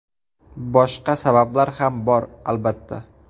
Boshqa sabablar ham bor, albatta.